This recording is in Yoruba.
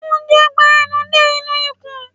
Oúnjẹ ń gba enú dé inú ikùn